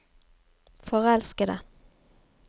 forelskede